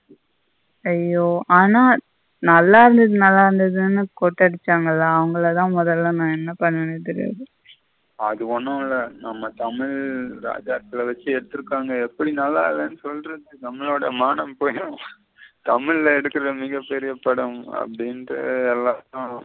தமிழ எடுக்குற மிக பெரிய படம் அப்டின்ட்டு எல்லாம்.